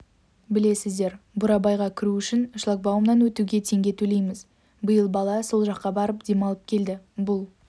білесіздер бурабайға кіру үшін шлагбаумнан өтуге теңге төлейміз биыл бала сол жаққа барып демалып келді бұл